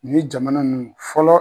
Ni jamana nunnu fɔlɔ.